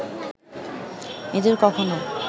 এদের কখনও